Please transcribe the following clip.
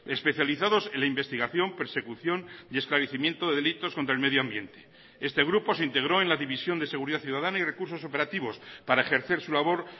especializados en la investigación persecución y esclarecimiento de delitos contra el medio ambiente este grupo se integró en la división de seguridad ciudadana y recursos operativos para ejercer su labor